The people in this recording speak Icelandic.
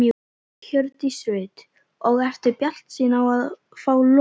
Hjördís Rut: Og ertu bjartsýn á að fá lóð?